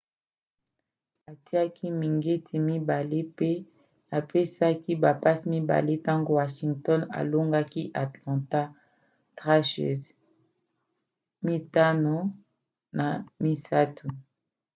atiaki mingete 2 mpe apesaki bapasse 2 ntango washington elongaki atlanta thrashers 5-3